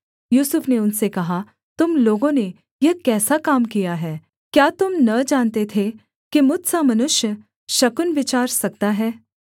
यूसुफ ने उनसे कहा तुम लोगों ने यह कैसा काम किया है क्या तुम न जानते थे कि मुझ सा मनुष्य शकुन विचार सकता है